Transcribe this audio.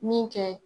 Min kɛ